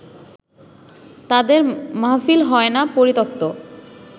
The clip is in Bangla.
তাঁদের মাহফিল হয় না পরিত্যক্ত